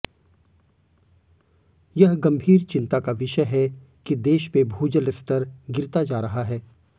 यह गंभीर चिंता का विषय है कि देश में भूजल स्तर गिरता जा रहा है